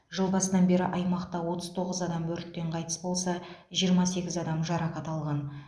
жыл басынан бері аймақта отыз тоғыз адам өрттен қайтыс болса жиырма сегіз адам жарақат алған